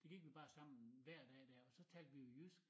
Så gik vi bare sammen hver dag dér og så talte vi jo jysk